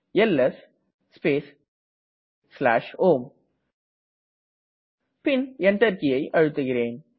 LS space home Enter கீயை அழுத்துகிறேன்